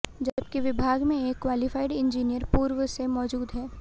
जबकि विभाग में एक क्वालीफाइड इंजीनियर पूर्व से मौजूद है